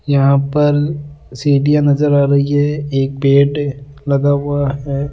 यहां पर सीडियां नजर आ रही है एक बेड लगा हुआ है।